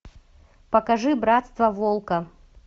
покажи братство волка